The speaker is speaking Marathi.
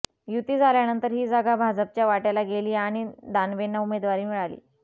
युती झाल्यानंतर ही जागा भाजपच्या वाट्याला गेली आणि दानवेंना उमेदवारी मिळाली